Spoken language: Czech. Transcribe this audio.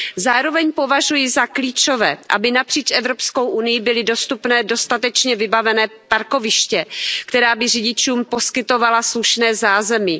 Zároveň považuji za klíčové, aby napříč EU byla dostupná dostatečně vybavená parkoviště, která by řidičům poskytovala slušné zázemí.